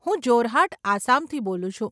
હું જોરહાટ, આસામથી બોલું છું.